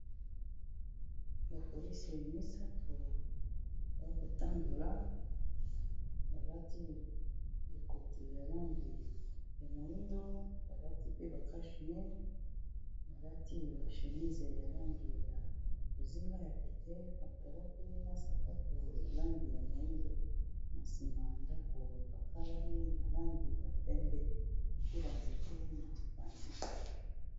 Ba polisi ya misato ya kotandola balati ekoti ya langi ya moindo, balati piba cachne ,balati ba shemise ya langi ya lozinga ya peke pantalo pi na sapato ya langi ya moindo na nsima ya ndako epakalami na langi ya pembe pila nzeke na mapanzi.